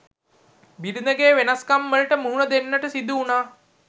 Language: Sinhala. බිරිඳගේ වෙනස්කම්වලට මුහුණ දෙන්නට සිදු වුනා.